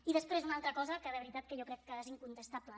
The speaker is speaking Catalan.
i després una altra cosa que de veritat que jo crec que és incontestable